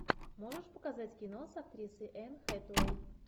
можешь показать кино с актрисой энн хэтэуэй